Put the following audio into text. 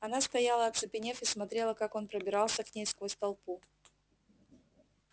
она стояла оцепенев и смотрела как он пробирался к ней сквозь толпу